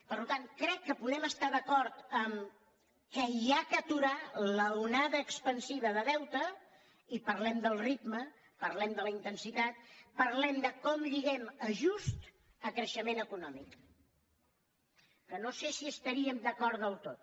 per tant crec que podem estar d’acord que s’ha d’aturar l’onada expansiva de deute i parlem del ritme parlem de la intensitat parlem de com lliguem ajust a creixement econòmic que no sé si estaríem d’acord del tot